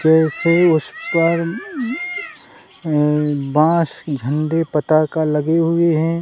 वैसे उस पर ये बास झंडे पताका लगे हुए हैं।